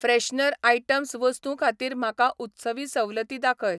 Freshener items वस्तूं खातीर म्हाका उत्सवी सवलती दाखय.